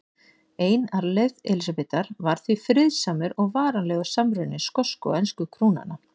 Ein arfleifð Elísabetar var því friðsamur og varanlegur samruni skosku og ensku krúnanna.